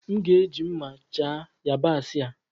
M ga-eji mma chaa yabaasị a.